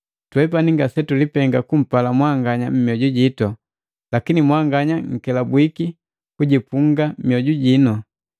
Twepani ngasetulipenga kumpala mwanganya mioju jitu, lakini mwanganya nkelabwiki kujipunga mioju jino.